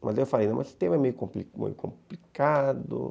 Mas aí eu falei, esse tema é meio complicado.